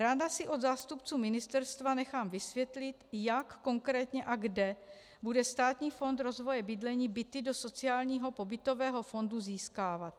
Ráda si od zástupců ministerstva nechám vysvětlit, jak konkrétně a kde bude Státní fond rozvoje bydlení byty do sociálního pobytového fondu získávat.